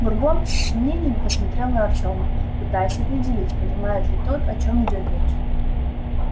бурбон с сомнением посмотрел на артёма пытаясь определить понимает ли тот о чём идёт речь